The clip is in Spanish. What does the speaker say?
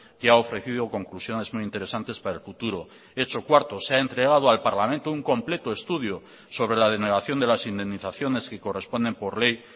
que ha ofrecido conclusiones muy interesantes para el futuro hecho cuarto se ha entregado al parlamento un completo estudio sobre la denegación de las indemnizaciones que corresponden por ley